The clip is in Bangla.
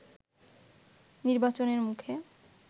নির্বাচনের মুখে